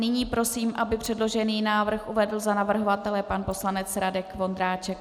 Nyní prosím, aby předložený návrh uvedl za navrhovatele pan poslanec Radek Vondráček.